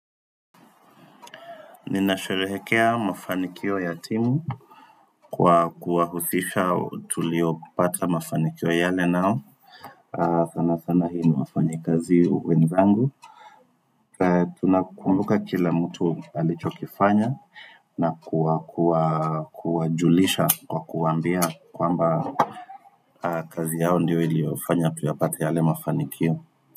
Ninasherehekea mafanikio ya timu Kwa kuahusisha tulio pata mafanikio yale nao sana sana hii niwafanyekazi wezangu Tuna kumbuka kila mtu alichokifanya na kuajulisha kwa kuambia kwamba kazi yao ndio iliofanya tuyapata yale mafanikio.